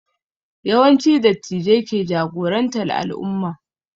Yawanci Dattijai ke jagorantar al'umma